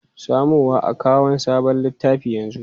Samo wa akawun sabon littafi yanzu!